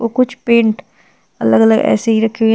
और कुछ पेंट अलग अलग ऐसे ही रखे हुए हैं।